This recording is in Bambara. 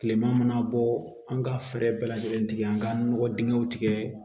Tilema mana bɔ an ka fɛɛrɛ bɛɛ lajɛlen tigɛ an ka nɔgɔ dingɛw tigɛ